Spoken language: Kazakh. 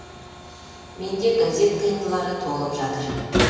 менде газет қиындылары толып жатыр